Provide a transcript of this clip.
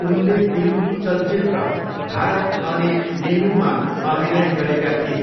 उनले तेलुगु चलचित्र भारत अने नेनूमा अभिनय गरेका थिए।